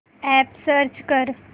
app search कर